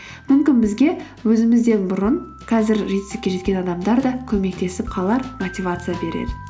мүмкін бізге өзімізден бұрын қазір жетістікке жеткен адамдар да көмектесіп қалар мотивация берер